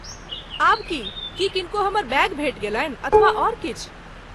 आब की? की किनको हमर बैग भेटि गेलनि अथवा आओर किछु?